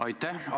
Aitäh!